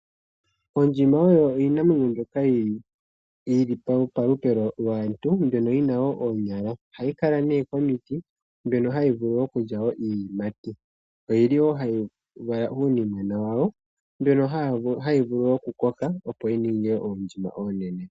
Ondjima oyo iinamwenyo mbyoka yi li palupe lwaantu mbyono yi na wo oonyala. Ohayi kala nee komiti, mbyono hayi vulu okulya iiyimati. Oyi li wo hayi vala uunimwena wawo mbono hawu vulu okukoka opo wu ninge oondjima oonene.